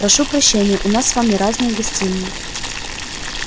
прошу прощения у нас с вами разные гостиные